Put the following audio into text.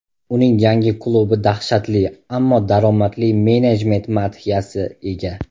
Uning yangi klubi dahshatli, ammo daromadli menejment madhiyasi ega.